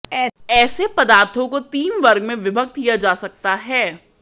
ऐसे पदाथो को तीन वर्गो मे विभक्त किया जा सकता है